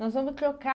Nós vamos trocar.